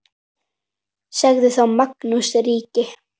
Sagði þá Magnús ríki